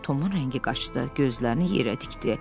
Tomun rəngi qaçdı, gözlərini yerə tikdi.